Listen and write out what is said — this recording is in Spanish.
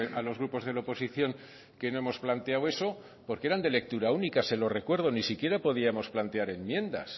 a los grupos de la oposición que no hemos planteado eso porque eran de lectura única se lo recuerdo ni si quiera podíamos plantear enmiendas